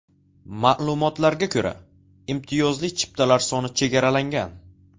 Ma’lumotlarga ko‘ra, imtiyozli chiptalar soni chegaralangan.